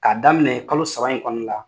K'a daminɛ kalo saba in kɔnɔna la